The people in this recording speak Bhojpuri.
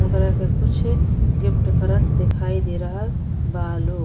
ओकरा के कुछ गिफ्ट करत दिखाई दे रहल बा लो --